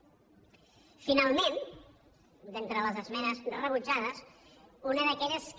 finalment d’entre les esmenes rebutjades una d’aquelles que